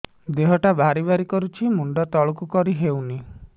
ଦେହଟା ଭାରି ଭାରି କରୁଛି ମୁଣ୍ଡ ତଳକୁ କରି ହେଉନି